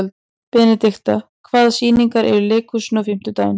Benidikta, hvaða sýningar eru í leikhúsinu á fimmtudaginn?